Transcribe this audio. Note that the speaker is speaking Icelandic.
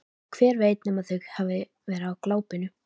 Hver veit nema þau hafi verið á glápinu.